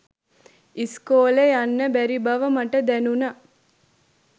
ඉස්කෝලෙ යන්න බැරි බව මට දැනුනා.